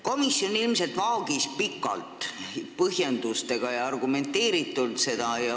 Komisjon ilmselt vaagis seda pikalt, põhjendustega ja argumenteeritult.